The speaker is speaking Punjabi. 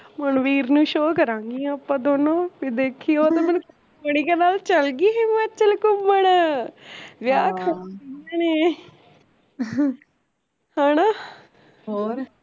ਮਨਵੀਰ ਨੂੰ show ਕਰਾਂਗੀਆ ਆਪਾਂ ਦੋਨੋਂ ਫੇਰ ਦੇਖੀ ਓਹਨੇ ਮੈਨੂੰ ਕਹਿਣਾ ਚਲਗੀ ਹਿਮਾਚਲ ਘੁੰਮਣ, ਵਿਆਹ ਖਾਣਾ ਇਹਨਾਂ ਨੇ ਹੈਨਾ